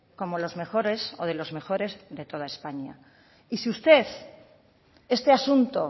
como los mejores o de los mejores de toda españa y si usted este asunto